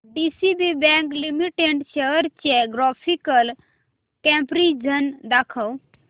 DCB bank limited shares चे graphical comparison दाखव